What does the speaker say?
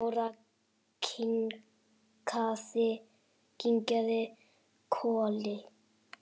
Dóra kinkaði kolli.